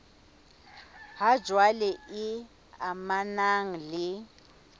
ha jwale e amanang le